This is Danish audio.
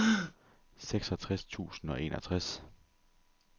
seksogtres tusind og enogtres